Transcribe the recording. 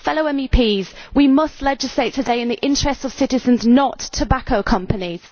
Fellow MEPs, we must legislate today in the interests of citizens, not tobacco companies.